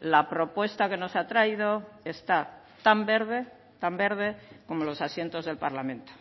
la propuesta que nos ha traído está tan verde tan verde como los asientos del parlamento